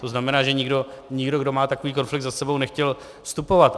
To znamená, že nikdo, kdo má takový konflikt za sebou, nechtěl vstupovat.